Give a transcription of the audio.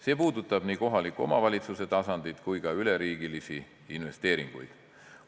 See puudutab nii kohaliku omavalitsuse tasandit kui ka üleriigilisi investeeringuid.